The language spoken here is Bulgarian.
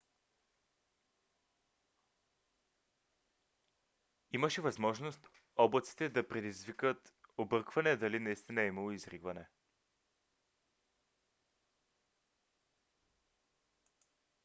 имаше възможност облаците да предизвикат объркване дали наистина е имало изригване